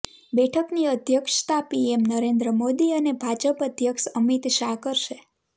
બેઠકની અધ્યક્ષતા પીએમ નરેન્દ્ર મોદી અને ભાજપ અધ્યક્ષ અમિત શાહ કરશે